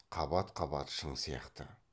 қабат қабат шың сияқты